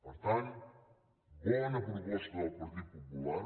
per tant bona proposta del partit popular